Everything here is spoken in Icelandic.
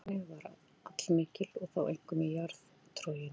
Eldvirkni var allmikil og þá einkum í jarðtroginu.